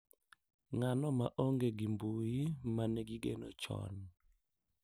Ng’ano ma onge gi mbui ma ne gigeno chon.